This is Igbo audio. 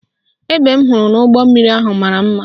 Egbe m hụrụ n' ime ụgbọmmiri ahụ mara mma